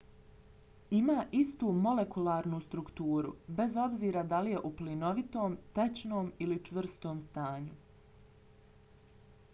ima istu molekularnu strukturu bez obzira da li je u plinovitom tečnom ili čvrstom stanju